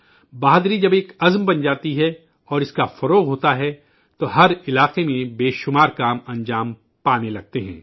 بہادری جب ایک عہد بن جاتی ہے اور پھیلتی ہے اور ہر میدان میں بہت سے کام ہونے لگتے ہیں